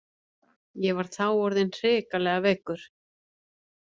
Ég var þá orðinn hrikalega veikur.